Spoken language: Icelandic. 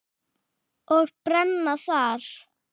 Og brenna þar.